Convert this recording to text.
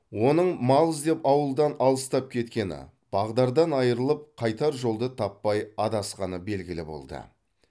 оның мал іздеп ауылдан алыстап кеткені бағдардан айырылып қайтар жолды таппай адасқаны белгілі болды